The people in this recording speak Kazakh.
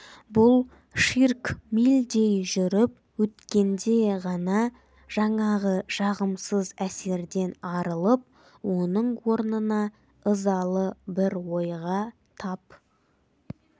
бұл ширк мильдей жүріп өткенде ғана жаңағы жағымсыз әсерден арылып оның орнына ызалы бір ойға тап